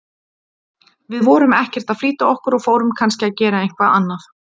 Við vorum ekkert að flýta okkur og fórum kannski að gera eitthvað annað